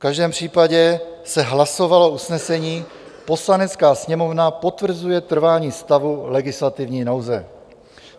V každém případě se hlasovalo usnesení: "Poslanecká sněmovna potvrzuje trvání stavu legislativní nouze."